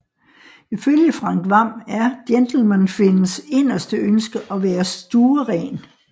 Ifølge Frank Hvam er Gentleman Finns inderste ønske at være stueren